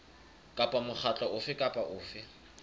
kapa mokgatlo ofe kapa ofe